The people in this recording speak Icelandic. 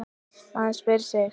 Maður spyr sig.